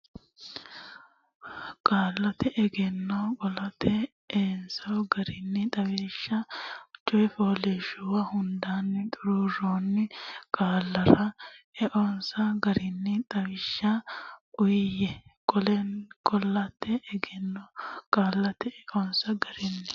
Qaallate Egenno Qaallate Eonsa Garinni Xawishsha coy fooliishshuwa hundaanni xuruurroonni qaallara eonsa garinni xawishsha uyiyye Qaallate Egenno Qaallate Eonsa Garinni.